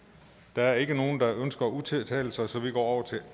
der er ikke nogen der ønsker at udtale sig så vi går